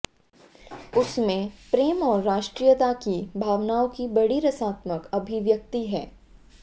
उसमें प्रेम और राष्ट्रीयता की भावनाओं की बड़ी रसात्मक अभिव्यक्ति है